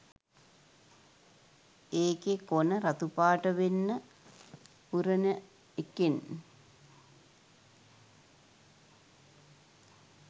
ඒකෙ කොන රතු පාට වෙන්න උරන එකෙන්